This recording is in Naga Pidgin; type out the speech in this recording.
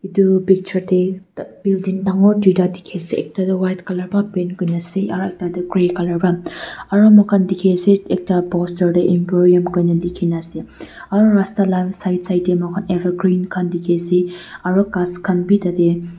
etu picture teh building dangor duita dikhi ase ekta tu white colour para paint kuri na ase aru tah teh grey colour para aru moikhan dikhi ase ekta poster teh employee koi na dikhi na ase aru rasta lah side teh moikhan evergreen khan dikhi ase aru ghass khan bhi tah teh--